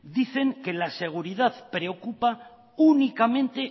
dicen que la seguridad preocupa únicamente